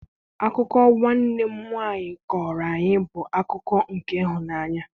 Akụkọ nwanne m nwaanyị kọọrọ anyị bụ akụkọ nke ịhụnanya.